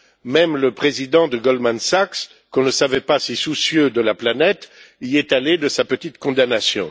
Même le président de Goldman Sachs, qu'on ne savait pas si soucieux de la planète, y est allé de sa petite condamnation.